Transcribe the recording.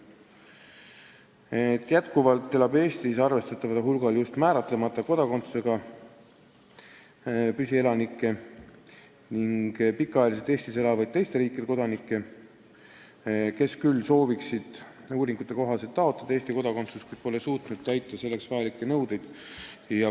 Eestis elab jätkuvalt arvestataval hulgal määratlemata kodakondsusega püsielanikke ning pikaajaliselt Eestis elavaid teiste riikide kodanikke, kes küll sooviksid uuringute kohaselt taotleda Eesti kodakondsust, kuid pole suutnud täita selleks vajalikke nõudeid.